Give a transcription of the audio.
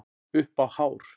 Upp á hár